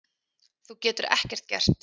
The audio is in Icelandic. Þú getur ekkert gert.